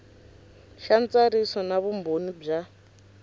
xa ntsariso na vumbhoni bya